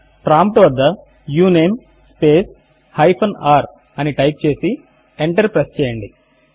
prompt వద్ద uname hyphen r అని type చేసి ఎంటర్ ప్రెస్ చేయండి